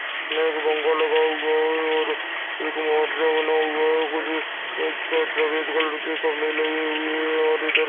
सामने एक पंखा लगा हुआ है और एक बना हुआ है कुछ खम्बे लगे हुए हैं और इधर --